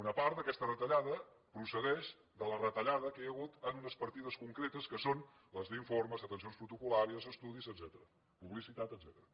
una part d’aquesta retallada procedeix de la retallada que hi ha hagut en unes partides concretes que són les d’informes atencions protocol·làries estudis etcètera publicitat etcètera